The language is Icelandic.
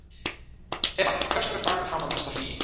Evan, hversu margir dagar fram að næsta fríi?